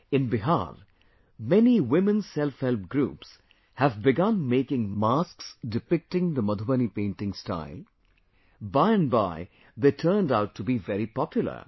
In Bihar, many women self help groups have begun making masks with Madhubani motifs... by and by, they turned out to be very popular